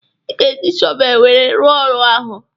Ị ga-eji shọvel wee rụ ọrụ ahụ